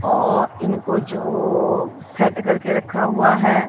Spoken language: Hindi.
ओ इनको जो सेट करके रखा हुआ हैं।